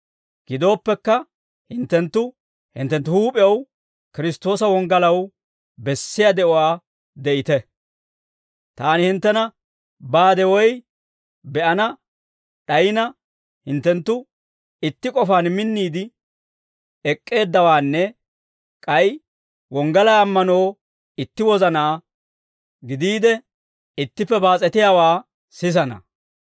Gidooppekka, hinttenttu hinttenttu huup'ew Kiristtoosa wonggalaw bessiyaa de'uwaa de'ite; taani hinttena baade woy be'ana d'ayina, hinttenttu itti k'ofaan minniide ek'k'eeddawaanne, k'ay wonggalaa ammanoo itti wozanaa gidiide ittippe baas'etiyaawaa sisana.